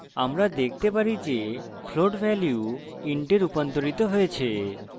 আমরা দেখতে পারি যে float value int we রুপান্তরিত হয়েছে